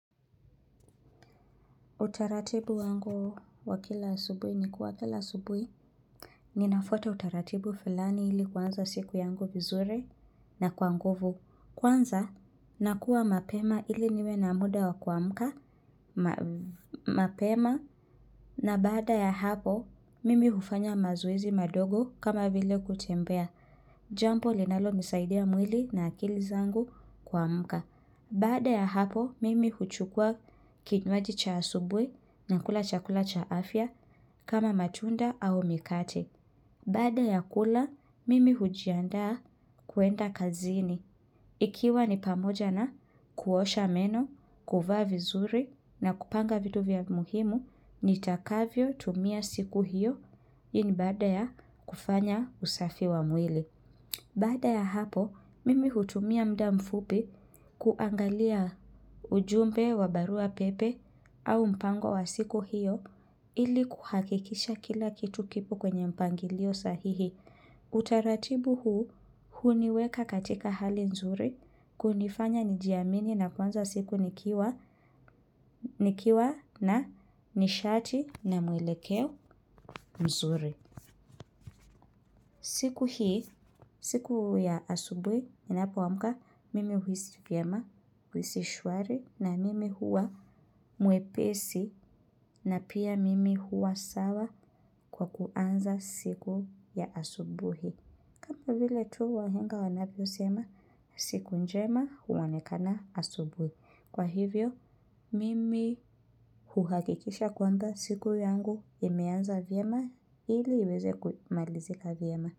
Utaratibu wangu wa kila asubui ni kuwa kila asubui. Ninafwata utaratibu fulani ili kuanza siku yangu vizuri na kwa nguvu. Kwanza, nakuwa mapema ili niwe na muda wa kuamka, mapema, na baada ya hapo, mimi hufanya mazoezi madogo kama vile kutembea. Jambo linalo msaidia mwili na akili zangu kuamka. Baada ya hapo, mimi huchukua kinwaji cha asubui nakula chakula cha afya kama matunda au mikate. Baada ya kula, mimi hujiandaa kuenda kazini. Ikiwa ni pamoja na kuosha meno, kuvaa vizuri na kupanga vitu vya muhimu, nitakavyo tumia siku hiyo. Hii ni baada ya kufanya usafi wa mwili. Baada ya hapo, mimi hutumia mda mfupi kuangalia ujumbe wa barua pepe au mpango wa siku hiyo ili kuhakikisha kila kitu kipo kwenye mpangilio sahihi. Utaratibu huu, huniweka katika hali nzuri, kunifanya nijiamini na kuanza siku nikiwa na nishati na mwelekeo mzuri. Siku hii, siku ya asubui, ninapoamka, mimi huisi vyema, huisi shwari, na mimi huwa mwepesi, na pia mimi huwa sawa kwa kuanza siku ya asubuhi. Vile tu wahenga wanavyo sema, siku njema huonekana asubuhi. Kwa hivyo, mimi huhakikisha kuanza siku yangu imeanza vyema, ili iweze kumalizika vyema.